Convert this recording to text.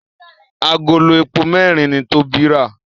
Àgòló èpo mẹrin ní Tobi rà